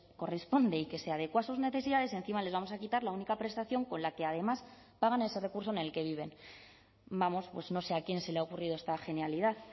corresponde y que se adecúa a sus necesidades encima les vamos a quitar la única prestación con la que además pagan ese recurso en el que viven vamos pues no sé a quién se le ha ocurrido esta genialidad